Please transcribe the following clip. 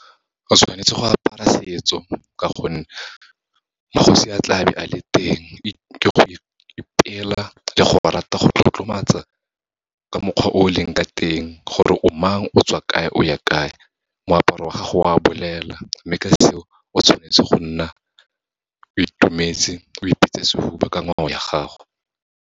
Go tshwanetse go apara setso, ka gonne magosi a tlabe a le teng, ke go ipela le go rata go tlotlomatsa ka mokgwa o leng ka teng, gore o mang, o tswa kae, o ya kae. Moaparo wa gago o a bolela, mme ka seo, o tshwanetse go nna o itumetse, o ipeetse sehuba ka ngwao ya gago.